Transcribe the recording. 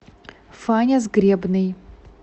фаня сгребный